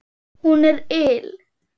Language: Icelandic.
Hún er ill.